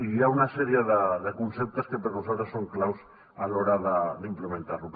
hi ha una sèrie de conceptes que per nosaltres són claus a l’hora d’implementar lo